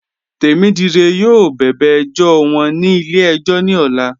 Temídíré yọọ bẹ̀bẹ̀ ẹjọ̀ wọn ní ilẹ̀-ẹ̀jọ̀ ní òlà